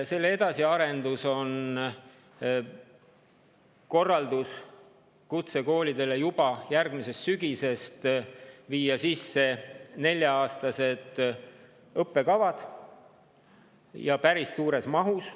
Selle edasiarendus on kutsekoolidele antud korraldus viia juba järgmisest sügisest sisse nelja-aastased õppekavad ja päris suures mahus.